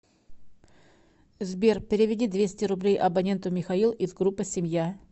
сбер переведи двести рублей абоненту михаил из группы семья